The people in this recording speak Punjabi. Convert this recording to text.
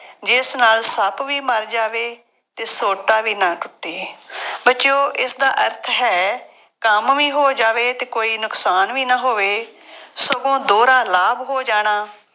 ਜਿਸ ਨਾਲ ਸੱਪ ਵੀ ਮਰ ਜਾਵੇ ਅਤੇ ਸੋਟਾ ਵੀ ਨਾ ਟੁੱਟੇ। ਬੱਚਿਉਂ ਇਸਦਾ ਅਰਥ ਹੈ, ਕੰਮ ਵੀ ਹੋ ਜਾਵੇ ਅਤੇ ਕੋਈ ਨੁਕਸਾਨ ਵੀ ਨਾ ਹੋਵੇ, ਸਗੋਂ ਦੋਹਰਾ ਲਾਭ ਹੋ ਜਾਣਾ,